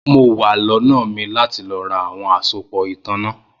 Mo wa lónà mi lati lọ ra awọn asopọ itanna